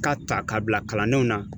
K'a ta k'a bila kalandenw na